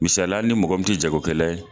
Misaliya ali ni mɔgɔ min te jagokɛla ye